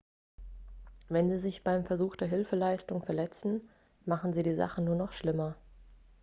wenn sie sich beim versuch der hilfeleistung verletzen machen sie die sache nur noch schlimmer